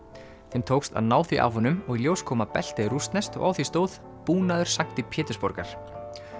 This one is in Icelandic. þeim tókst að ná því af honum og í ljós kom að beltið er rússneskt og á því stóð búnaður sankti Pétursborgar